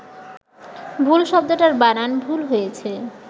ভুল শব্দটার বানান ভুল হয়েছে